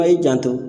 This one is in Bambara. A' y'i janto